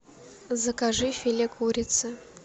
закажи филе курицы